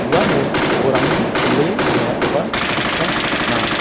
uano do·orangni bile roengakoba nikna gita man·a.